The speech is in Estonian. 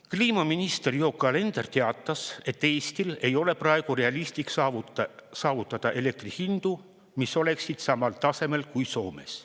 Kliimaminister Yoko Alender teatas, et Eestil ei ole praegu realistlik saavutada elektri hindu, mis oleksid samal tasemel kui Soomes.